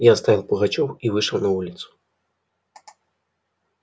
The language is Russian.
я оставил пугачёв и вышел на улицу